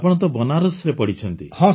ଆପଣ ତ ବନାରସ୍ରେ ପଢ଼ିଛନ୍ତି